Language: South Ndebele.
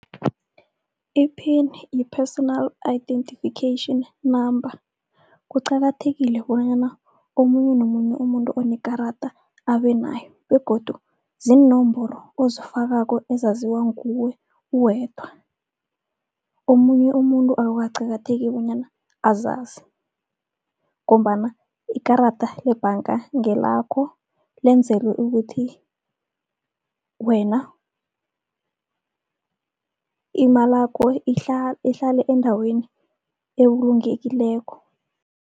I-pin yi-personal identification number, kuqakathekile bonyana omunye nomunye umuntu onekarada abenayo, begodu ziinomboro ozifakako ezaziwa nguwe uwedwa. Omunye umuntu akukaqakatheki bonyana azazi, ngombana ikarada lebhanga ngelakho lenzelwe ukuthi wena imalakho ihlale endaweni ebulungekileko.